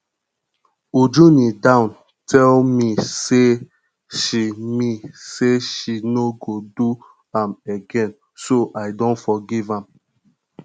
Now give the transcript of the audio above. uju kneel down tell me say she me say she no go do am again so i don forgive am